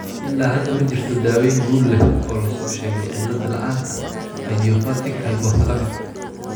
Ilaa hadda, ma jirto daaweyn guul leh oo loo soo sheegay cillad la'aanta idiopathic hypothalamic.